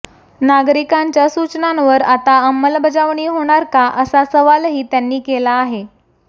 नागरिकांच्या सूचनांवर आता अंमलबजावणी होणार का असा सवालही त्यांनी केला आहे